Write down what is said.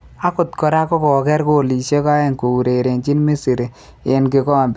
Angot kora ko kogeer golishek aeng' kourerenjin Misri eng' kikombet ab ingwony komugul